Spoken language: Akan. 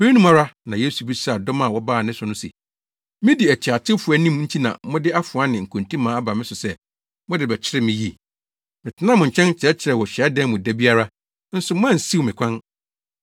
Bere no mu ara na Yesu bisaa dɔm a wɔbaa ne so no se, “Midi atuatewfo anim nti na mode afoa ne nkontimmaa aba me so sɛ mode rebɛkyere me yi? Metenaa mo nkyɛn kyerɛkyerɛɛ wɔ hyiadan mu da biara, nso moansiw me kwan.